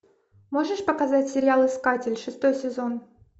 можешь показать сериал искатель шестой сезон